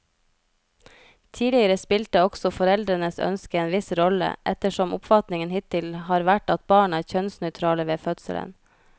Tidligere spilte også foreldrenes ønske en viss rolle, ettersom oppfatningen hittil har vært at barn er kjønnsnøytrale ved fødselen.